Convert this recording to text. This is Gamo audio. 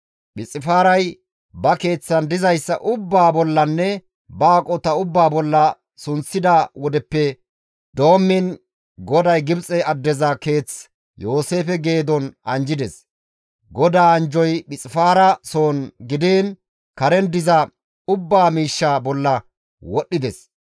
Phixifaaray ba keeththan dizayssa ubbaa bollanne ba aqota ubbaa bolla sunththida wodeppe doommiin GODAY Gibxe addeza keeth Yooseefe geedon anjjides. GODAA anjjoy Phixifaara soon gidiin karen diza miish ubbaa bolla wodhdhides.